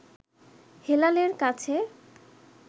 হেলালের কাছে